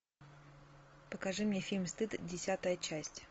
покажи мне фильм стыд десятая часть